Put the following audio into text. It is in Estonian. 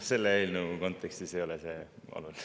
Selle eelnõu kontekstis ei ole see oluline.